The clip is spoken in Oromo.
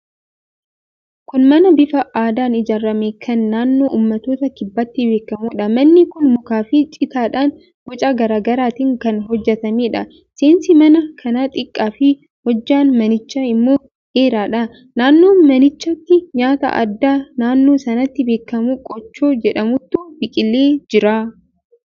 Kun mana bifa aadaan ijaarame kan naannoo uummattoota kibbaatti beekamuudha. Manni kun mukaafi citaadhaan boca garaa garaatiin kan hojjetameedha. Seensi mana kanaa xiqqaafi hojjaan manichaa immoo dheeraadha. Naannoo manichaatti nyaata aadaa naannoo sanatti beekamu qochoo jedhamutu biqilee jira.